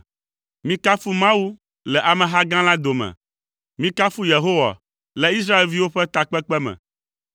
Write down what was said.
Mikafu Mawu le ameha gã la dome. Mikafu Yehowa le Israelviwo ƒe takpekpe me.